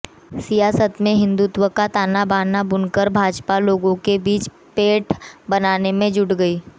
सियासत में हिंदुत्व का तानाबाना बुनकर भाजपा लोगों के बीच पैठ बनाने में जुटी गई